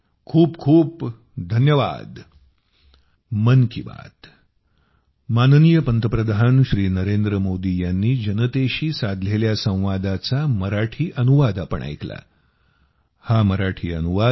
खूप खूप धन्यवाद